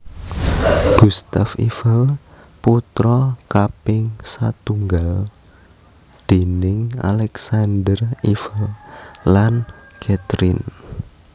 Gustave Eiffel putra kaping satunggal déning Alexandre Eiffel lan Catherine